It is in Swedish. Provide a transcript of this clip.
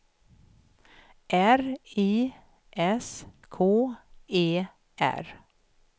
R I S K E R